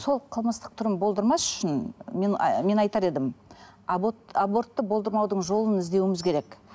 сол қылмыстық түрін болдырмас үшін мен мен айтар едім абортты болдырмаудың жолын іздеуіміз керек